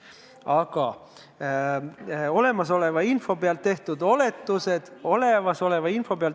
Aga olemasoleva info põhjal tehtud oletused on toredad.